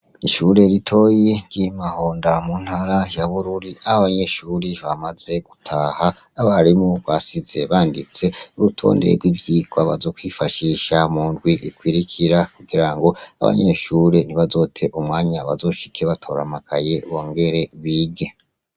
Ishure ritoyi yimahonda yo muntara ya bururi yaho abanyeshuri bamaze gutaha nabarimu basize banditse urutonde ryivyirwa bazokwifashisha mundwi ikwirikira kugirango abanyeshure ntibazote umwanya bazoshike batora amakaye bongere bige